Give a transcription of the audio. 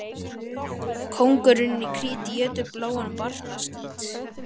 Kóngurinn í Krít étur bláan barnaskít.